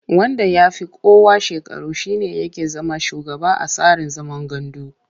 Wanda ya fi kowa shekaru shi ne yake zama shugaba a tsarin zaman gandu.